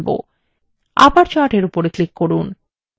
আবার chart এর উপর click করুন